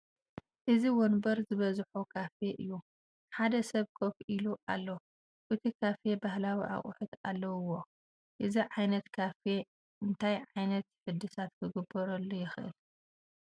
እዚ ወንበር ዝበዘሖ ካፌ እዩ ሓደ ሰብ ኮፍ ኢሉ ኣሎ እቲ ካፌ ባህላዊ እቅሑት ኣለውዎ ። እዚ ዓይነት ካፌ እንታይ ዕይነት ሕድሳት ክግበረሉ ይኽእል ?